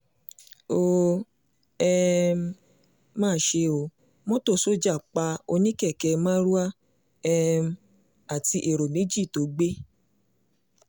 ó um mà ṣe ó mọ́tò sójà pa oní-kẹ̀kẹ́ marwa um àti ẹ̀rọ méjì tó gbé